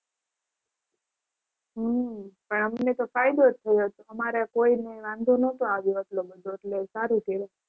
હમ પણ અમને તો ફાયદો જ થયો હતો. અમારે કોઈને વાંધો નહોતો આવ્યો એટલો બધો એટલે સારું થયું.